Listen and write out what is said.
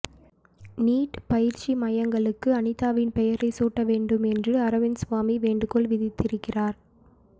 NEET பயிற்சி மையங்களுக்கு அனிதாவின் பெயரைச் சூட்ட வேண்டும் என்று அரவிந்த்சாமி வேண்டுகோள் விடுத்திருக்கிறார்